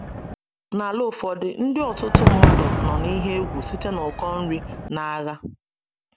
N’ala ụfọdụ, ndụ ọtụtụ mmadụ nọ n’ihe egwu site n’ụkọ nri na agha.